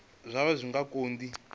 zwaho zwi nga kha di